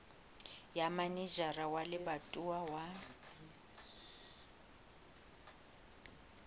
ya manejara wa lebatowa wa